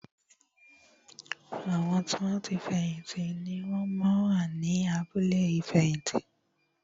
Àwọn tí wọn ti fẹ̀yìn tì ni wón máa ń wà ní abúlé ìfẹ̀yìntì